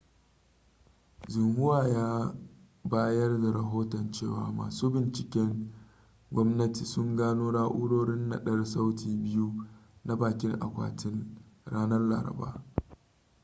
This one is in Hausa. xinhua ya bayar da rahoton cewa masu binciken gwamnati sun gano na'urorin naɗar sauti biyu na 'bakin akwatin' ranar laraba